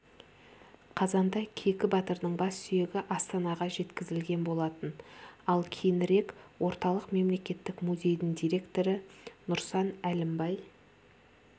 қазанда кейкі батырдың бассүйегі астанаға жеткізілген болатын ал кейінірек орталық мемлекеттік музейдің директоры нұрсан әлімбай